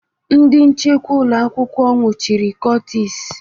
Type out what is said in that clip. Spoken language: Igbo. Ndị nchekwa ụlọ akwụkwọ nwụchiri Curtis